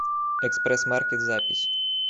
экспрессмаркет запись